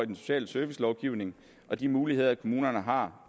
i den sociale servicelovgivning og de muligheder kommunerne har